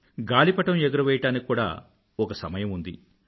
గాలిపటం ఎగురవేయడానికి కూడా ఒక సమయం ఉంది